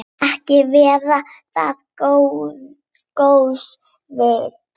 Ekki var það góðs viti.